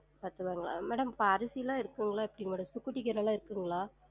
பத்து ருவாயங்களா? madam இப்ப அரிசிலாம் இருக்குங்களா எப்டி madam இருக்குங்களா?